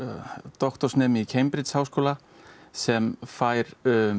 doktorsnemi í Cambridge háskólanum sem fær